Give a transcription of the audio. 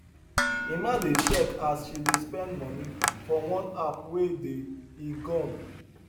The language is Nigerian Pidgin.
emma dey check as she dey spend money for one app wey dey e gone